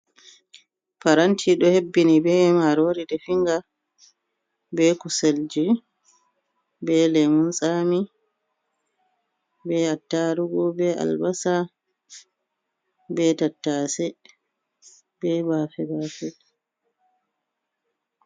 Paranti ɗo hebbini ɓe marori definga, be kuselji, be lemun tsami, be attarugu, be albasa, be tattase, be bafe bafe.